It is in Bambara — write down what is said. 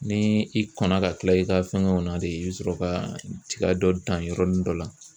Ni i kɔnna ka kila i ka fɛngɛw na de i bɛ sɔrɔ ka tiga dɔ dan yɔrɔnin dɔ la.